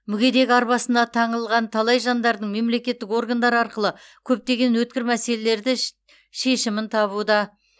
мүгедек арбасына таңылған талай жандардың мемлекеттік органдар арқылы көптеген өткір мәселелері ше шешімін табуда